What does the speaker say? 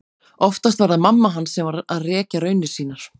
Oftast var það mamma hans sem var að rekja raunir sínar.